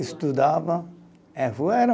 Estudava.